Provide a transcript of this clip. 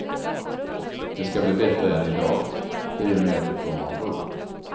Den ska bli bättre än i dag, i och med att det kommer en bro.